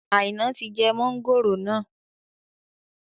Aina tí jẹ mọ̀ngòrò náà